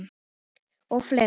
Og fleira.